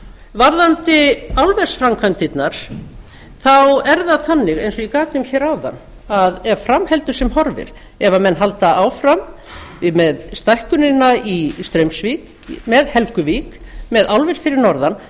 varðandi álversframkvæmdirnar þá er það þannig eins og ég gat um hér áðan að ef fram heldur sem horfir ef menn halda áfram með stækkunina í straumsvík með helguvík með álver fyrir norðan